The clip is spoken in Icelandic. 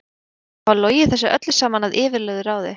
Við áttum að hafa logið þessu öllu saman að yfirlögðu ráði.